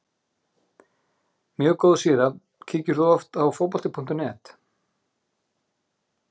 mjög góð síða Kíkir þú oft á Fótbolti.net?